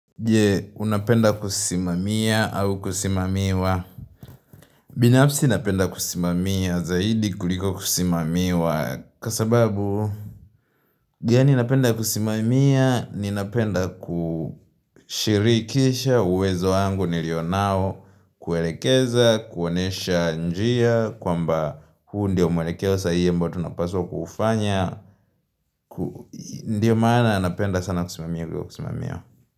Je unapenda kusimamia au kusimamiwa Binyapsi inapenda kusimamiwa zaidi kuliko kusimamiwa kasababu Yani inapenda kusimamia ni inapenda kushirikisha uwezo wangu nilio nao kuwelekeza kuonesha njia kwamba huu ndia umwelekewa sahie ambao tunapaswa kufanya Ndiyo maana anapenda sana kusimamia kuliko kusimamia.